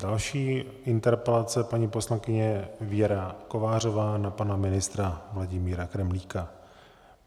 Další interpelace - paní poslankyně Věra Kovářová na pana ministra Vladimíra Kremlíka.